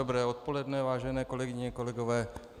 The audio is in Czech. Dobré odpoledne, vážené kolegyně, kolegové.